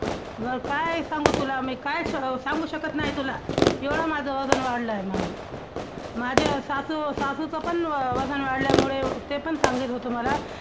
मग काय सांगू तुला मी, काय सांगू शकत नाही तुला, एवढं माझं वजन वाढलंय म्हणून. माझ्या सासू ~ सासूचं पण वजन वाढल्यामुळे ते पण सांगित होते मला.